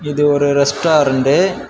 இது ஒரு ரெஸ்டாரண்டு .]